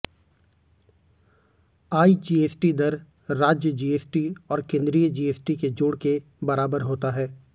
IGST दर राज्य GST और केंद्रीय जीएसटी के जोड़ के बराबर होता है